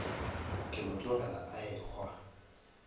ke mo tlogela a ehwa